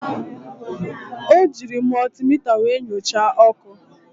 O jiiri mọltimita were nyochaa ọkụ.